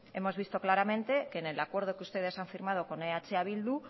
hemos visto claramente que en el acuerdo que ustedes han firmado con eh bildu